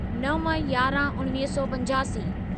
नव यारहं उणिवीह सौ पंजासी